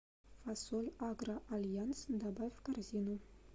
фасоль агро альянс добавь в корзину